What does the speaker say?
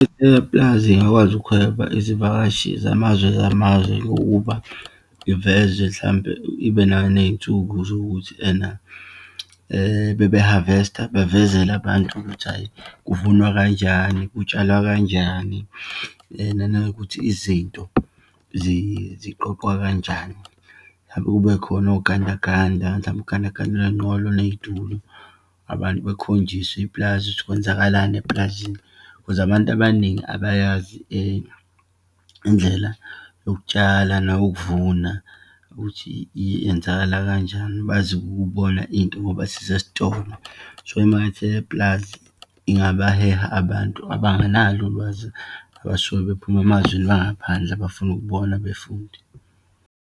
ipulazi ingakwazi ukuheha izivakashi zamazwe zamazwe, ngokuba ivezwe mhlampe ibe naneyinsuku zokuthi ena bebe-harvest-a, bevezele abantu ukuthi hhayi, kuvunwa kanjani, kutsalwa kanjani. Nanokuthi izinto ziqoqwa kanjani, hlampe kubekhona ogandaganda. Mhlampe ugandaganda unenqola, uneyitulo. Abantu bekhonjiswe ipulazi ukuthi kwenzakalani epulazini cause abantu abaningi abayazi indlela yokutshala nokuvuna, ukuthi iyenzakala kanjani. Bazi ukubona into ngoba zisesitolo. So, imakethe yepulazi ingabaheha abantu abanganalo ulwazi, abasuke bephuma emazweni angaphandle, befuna ukubona befunde.